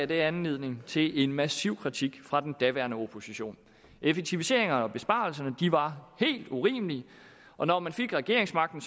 det anledning til en massiv kritik fra den daværende opposition effektiviseringerne og besparelserne var helt urimelige og når man fik regeringsmagten